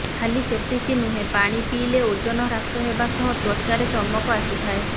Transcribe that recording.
ଖାଲି ସେତିକି ନୁହେଁ ପାଣି ପିଇଲେ ଓଜନ ହ୍ରାସ ହେବା ସହ ତ୍ୱଚାରେ ଚମକ ଆସିଥାଏ